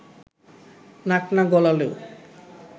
নাক না গলালেও